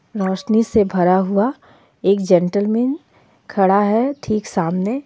रौशनी से भरा हुआ एक जेंटलमैन खड़ा हे ठीक सामने.